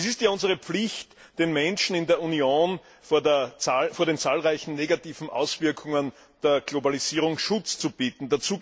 Es ist unsere Pflicht, den Menschen in der Union vor den zahlreichen negativen Auswirkungen der Globalisierung Schutz zu bieten.